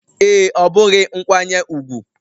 Ee, ọ bụghị nkwanye ùgwù